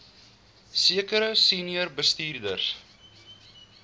sekere senior bestuurders